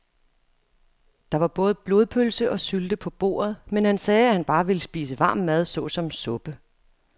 Der var både blodpølse og sylte på bordet, men han sagde, at han bare ville spise varm mad såsom suppe.